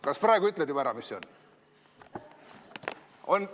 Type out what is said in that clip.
Kas praegu ütled juba ära, mis see on?